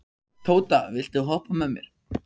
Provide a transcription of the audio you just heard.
Tóta, viltu hoppa með mér?